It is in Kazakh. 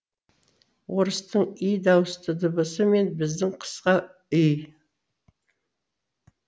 орыстың и дауысты дыбысы мен біздің қысқа й